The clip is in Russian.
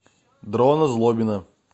дрона злобина